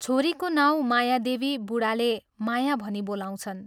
छोरीको नाउँ माया देवी बूढाले ' माया ' भनी बोलाउँछन्।